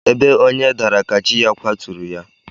Ebe onye dara ka chi ya kwaturu ya